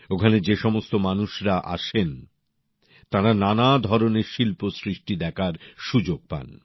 ওখানে যে সমস্ত মানুষের আসেন তাঁরা নানা ধরনের শিল্পসৃষ্টি দেখার সুযোগ পান